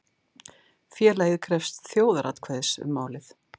Félagið krefst þjóðaratkvæðis um málið